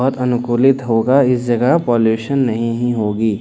बहोत अनुकूलित होगा इस जगह पॉल्यूशन नहीं ही होगी।